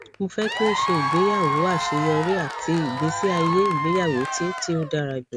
mo fẹ ki o ṣe igbeyawo aṣeyọri ati igbesi aye igbeyawo ti ti o dara julọ